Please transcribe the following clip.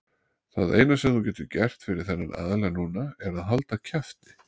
Það eina sem þú getur gert fyrir þennan aðila núna er að halda kjafti.